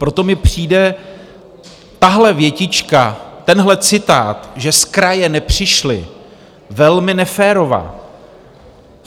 Proto mi přijde tahle větička, tenhle citát, že z kraje nepřišly, velmi neférová.